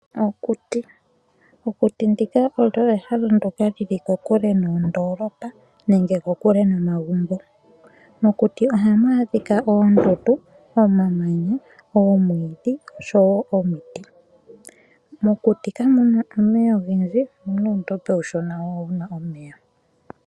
Okuti. Okuti ndika olyo ehala ndoka lili kokule noondoolopa nenge kokule nomagumbo. Mokuti ohamu adhika oomwiidhi oshowo omiti mokuti kamuna omeya ogendji omuna uudhiya uushona hawu kala wuna omeya